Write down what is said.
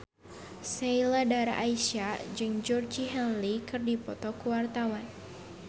Sheila Dara Aisha jeung Georgie Henley keur dipoto ku wartawan